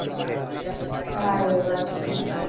હા એ વાત પણ છે.